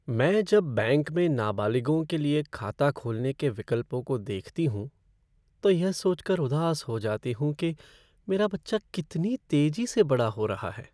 मैं जब बैंक में नाबालिगों के लिए खाता खोलने के विकल्पों को देखती हूँ तो यह सोचकर उदास हो जाती हूँ कि मेरा बच्चा कितनी तेजी से बड़ा हो रहा है।